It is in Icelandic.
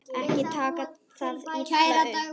Ekki taka það illa upp.